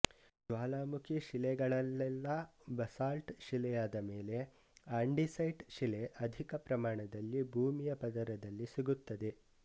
ಜ್ವಾಲಾಮುಖಿ ಶಿಲೆಗಳಲ್ಲೆಲ್ಲ ಬಸಾಲ್ಟ್ ಶಿಲೆಯಾದ ಮೇಲೆ ಆಂಡಿಸೈಟ್ ಶಿಲೆ ಅಧಿಕ ಪ್ರಮಾಣದಲ್ಲಿ ಭೂಮಿಯ ಪದರದಲ್ಲಿ ಸಿಗುತ್ತವೆ